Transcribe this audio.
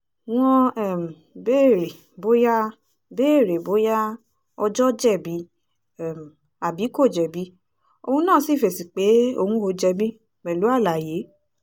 wọ́n um béèrè bóyá béèrè bóyá ọjọ́ jẹ̀bi um àbí kò jẹ̀bi òun náà sì fèsì pé òun ò jẹ̀bi pẹ̀lú àlàyé